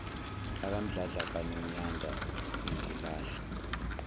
bakamdladla kanonyanda ngizilahla